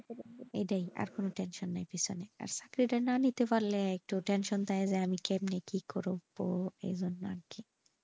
এটাই আর কোনো tension নাই কোনো আর চাকরিটা না নিতে পারলে একটু tension থাকে যে আমি কেননা কি করবো এই জন্য আর কি।